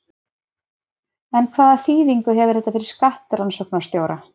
En hvaða þýðingu hefur þetta fyrir skattrannsóknarstjóra?